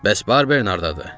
Bəs Barber haradadır?